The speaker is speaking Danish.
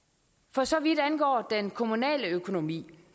for så vidt angår den kommunale økonomi